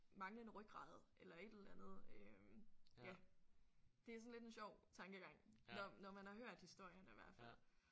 Manglende rygrade eller et eller andet øh ja det er sådan lidt en sjov tankegang når når man har hørt historierne hvert fald